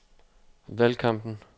valgkampen